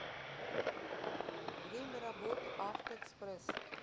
время работы авто экспресс